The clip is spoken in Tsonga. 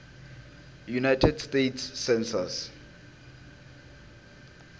united states census